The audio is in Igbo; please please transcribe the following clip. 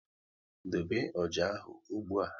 Dobe ọjà ahụ ụgbụa!